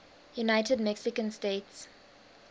united mexican states